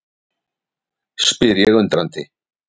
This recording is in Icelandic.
spyr ég undrandi.